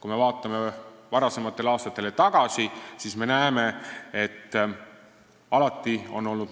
Kui me vaatame varasematele aastatele tagasi, siis näeme, et alati on olnud